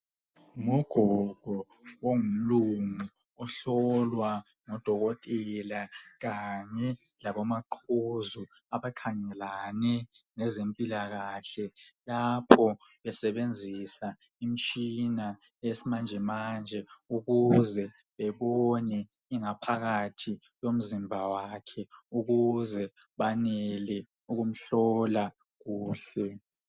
Ngugogo ongumlungu ohlowa ngudokotela kanye labo maqhuzu abakhangelane lezempilakahle .Lapho besebenzisa Imtshina yesmanjemanje ukuze bebone ingaphathi yomzimba wakhe ukuze banele ukumhlola kuhle .